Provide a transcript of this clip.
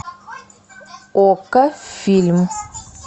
окко фильм